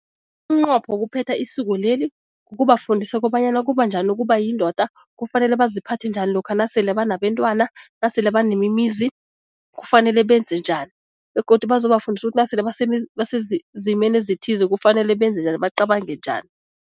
Umnqopho wokuphetha isiko leli kukubafundisa kobanyana kubanjani ukuba yindoda, kufanele baziphathe njani lokha nasele banabentwana, nasele banemizi kufanele benze njani begodu bazobafundisa ukuthi nasele basezimeni ezithize kufanele benze njani, bacabange njani.